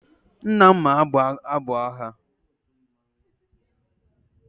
Nna m ma agụ abụ agha.